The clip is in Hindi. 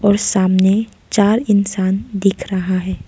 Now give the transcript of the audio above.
और सामने चार इंसान दिख रहा है।